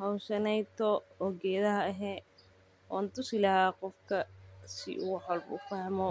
Howshaneyto oo gedaha eh wan tusi laha qofka si uu wax walbo ufahmo